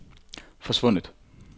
forsvundet